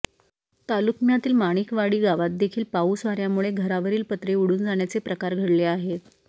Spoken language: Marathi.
तालुक्मयातील माणिकवाडी गावातदेखील पाऊस वाऱयामुळे घरावरील पत्रे उडून जाण्याचे प्रकार घडले आहेत